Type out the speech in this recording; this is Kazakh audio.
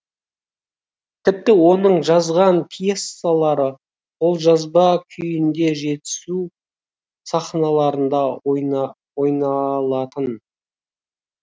тіпті оның жазған пьесалары қолжазба күйінде жетісу сахналарында ойналатын